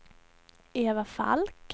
Eva Falk